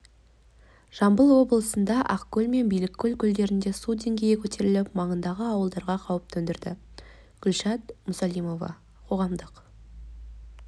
жамбыл облысында ақкөл мен биліккөл көлдерінде су деңгейі көтеріліп маңайындағы ауылдарға қауіп төндірді гүлшат мұсалимова қоғамдық